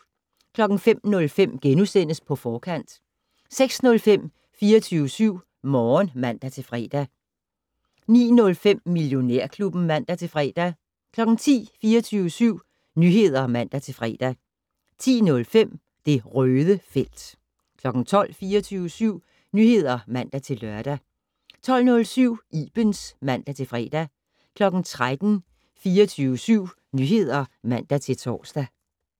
05:05: På Forkant * 06:05: 24syv Morgen (man-fre) 09:05: Millionærklubben (man-fre) 10:00: 24syv Nyheder (man-fre) 10:05: Det Røde felt 12:00: 24syv Nyheder (man-lør) 12:07: Ibens (man-fre) 13:00: 24syv Nyheder (man-fre) 13:05: Damernes Magazine (man-fre) 14:00: 24syv Nyheder (man-tor)